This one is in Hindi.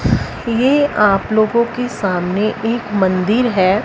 ये आप लोगों के सामने एक मंदिर है।